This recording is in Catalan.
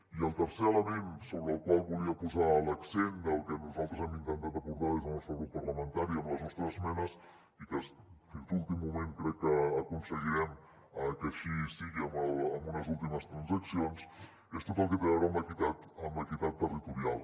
i el tercer element sobre el qual volia posar l’accent del que nosaltres hem intentat aportar des del nostre grup parlamentari amb les nostres esmenes i que fins a l’últim moment crec que aconseguirem que així sigui amb unes últimes transaccions és tot el que té a veure amb l’equitat territorial